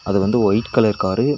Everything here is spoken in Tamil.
அது வந்து ஒயிட் கலர் காரு .